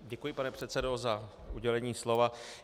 Děkuji, pane předsedo, za udělení slova.